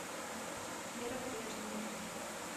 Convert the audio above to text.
вера брежнева